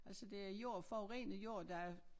Altså det er jord forurenet jord der